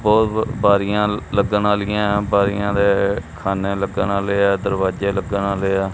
ਬਹੁਤ ਬਾਰੀਆਂ ਲੱਗਣ ਵਾਲੀਆਂ ਬਾਰੀਆਂ ਦੇ ਖਾਨੇ ਲੱਗਣ ਵਾਲੇ ਆ ਦਰਵਾਜ਼ੇ ਲੱਗਣ ਵਾਲੇ ਆ।